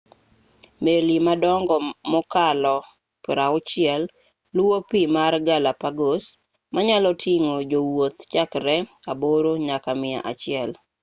meli madongo mokalo 60 luwo pii mar galapagos manyaloting'o jowuoth chakre aboro nyaka mia achiel